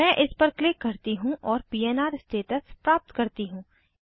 मैं इस पर क्लिक करती हूँ और पन्र स्टेटस प्राप्त करती हूँ